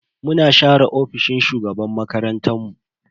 Muna share ofishin shugaban makarantan mu.